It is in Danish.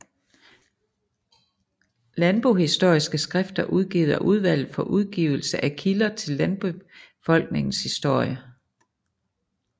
Landbohistoriske skrifter udgivet af Udvalget for Udgivelse af Kilder til Landbefolkningens Historie